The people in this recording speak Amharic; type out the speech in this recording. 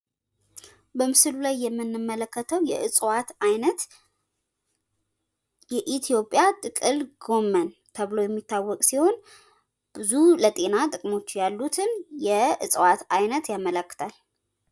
በምስሉ ላይ የምንመለከተው የእፅዋት አይነት የኢትዮጵያ ጥቅል ጎመን ተብሎ የሚታወቅ ሲሆን ብዙ ለጤና ጥቅሞች ያሉትን የእፅዋት አይነት ያመላክታል።